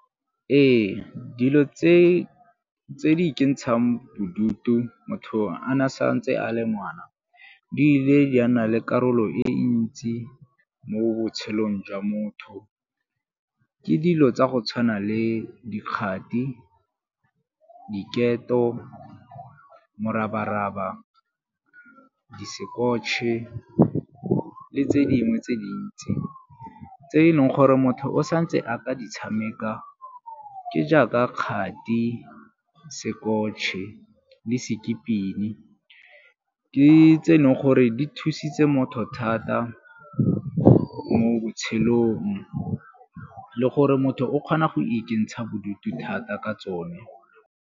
Ee, dilo tse di ikentshang bodutu motho a na sa ntse a le ngwana, di ile di a nna le karolo e ntsi mo botshelong jwa motho ke dilo tsa go tshwana le dikgati, diketo, morabaraba, di sekekotšhe le tse dingwe tse dintsi tse e leng gore motho o santse a ka di tshameka ke jaaka kgati, sekotšhe le skipping. Ke tse e leng gore di thusitse motho thata mo botshelong le gore motho o kgona go ikentsha bodutu thata ka tsone.